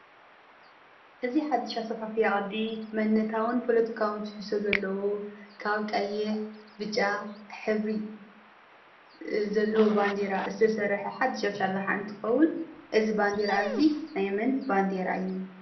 እዚ ሓዱሽ ኣሰፋፍያ ቅዲ መንነታውን ፖለቲካውን ትሕዝጻቶ ዘለዎ ካብ ቀይሕ፣ ብጫ ሕብሪ ዘለዎ ባንዴራ ዝተሰርሐ ሓዱሽ ኣሰራርሓ እንትኸውን እዚ ባንዴራ እዚ ናይ መን ባንዴራ እዩ?